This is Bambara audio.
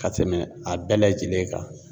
Ka tɛmɛ a bɛɛ lajɛlen kan.